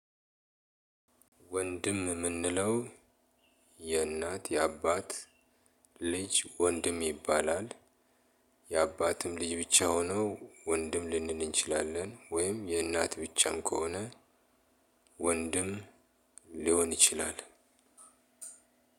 ወንድም የምንለው የእናት፣ የአባት ልጅ ወንድም ይባላል። የአባትም ልጅ ብቻ ሆኖ ወንድም ልንል እንችላለን። ወይም የእናት ብቻም ከሆነ ወንድም ሊሆን ይችላል።